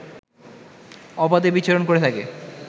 অবাধে বিচরণ করে থাকে